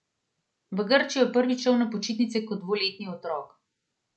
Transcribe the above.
V Grčijo je prvič šel na počitnice kot dvoletni otrok.